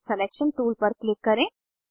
selection tool पर click करें